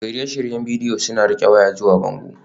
Shirye-shiryen bidiyo suna riƙe waya zuwa bango